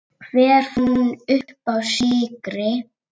Hver fann uppá sykri?